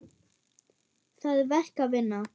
Það er verk að vinna.